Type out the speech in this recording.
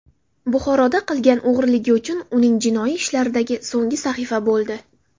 Buxoroda qilgan o‘g‘riligi uning jinoiy ishlaridagi so‘nggi sahifa bo‘ldi.